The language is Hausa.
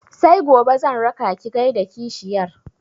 Sai gobe zan raka ki gaida kashiyar